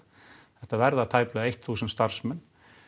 þetta verða tæplega eitt þúsund starfsmenn